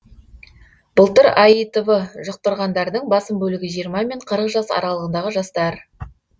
былтыр аитв жұқтырғандардың басым бөлігі жиырма мен қырық жас аралығындағы жастар